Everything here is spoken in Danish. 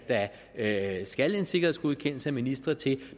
at skal en sikkerhedsgodkendelse af ministre til